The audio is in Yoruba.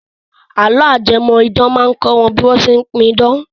Àlọ́ ajẹmọ̀-idán máa kọ́ wa bí wọ́n ṣe pidán.